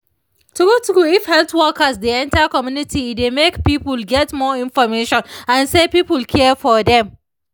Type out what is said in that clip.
true true if health workers dey enter community e dey make people get more information and se people care for dem